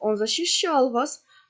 он защищал вас